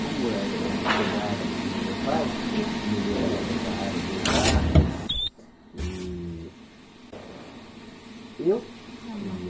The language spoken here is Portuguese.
Como eh eu me espelhava assim no meu pai, e ele era dessa área de exatas, e eu queria.